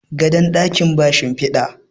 gadon dakin ba shimfida